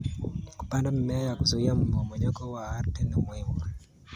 Kupanda mimea ya kuzuia mmomonyoko wa ardhi ni muhimu.